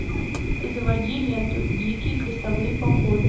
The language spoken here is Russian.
заводи ленту дикие крестовые походы